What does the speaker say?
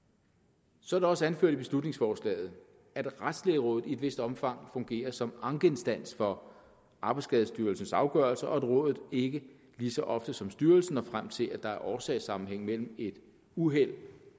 så er det også anført i beslutningsforslaget at retslægerådet i et vist omfang fungerer som ankeinstans for arbejdsskadestyrelsens afgørelser og at rådet ikke lige så ofte som styrelsen når frem til at der er årsagssammenhæng mellem et uheld